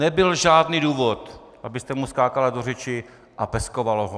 Nebyl žádný důvod, abyste mu skákala do řeči a peskovala ho!